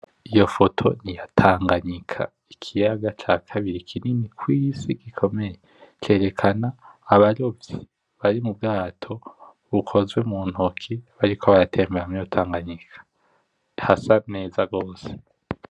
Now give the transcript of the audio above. Iyo foto niya Tanganyika ikiyanga ca kambiri kinini kw’isi gikomeye, cerekana abarovyi bari mubwato bukozwe muntoki bariko baratembera muriyo Tanganyika hasa neza gose.